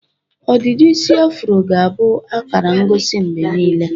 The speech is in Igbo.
Ọdịdị isi afụro ga-abụ akara ngosi mgbe niile.